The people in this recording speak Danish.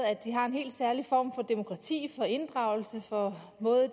at de har en helt særlig form for demokrati for inddragelse for måder at